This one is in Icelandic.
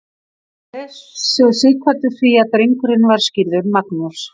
réð svo sighvatur því að drengurinn var skírður magnús